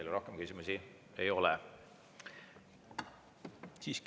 Teile rohkem küsimusi ei ole.